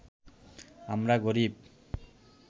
আমরা গরিব